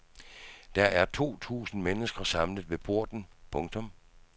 Der er to tusinde mennesker samlet ved porten. punktum